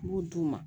U b'u d'u ma